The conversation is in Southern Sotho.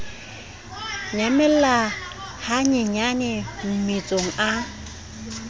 nyamella ha nyenyane mmetsong a